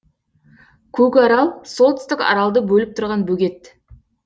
көкарал солтүстік аралды бөліп тұрған бөгет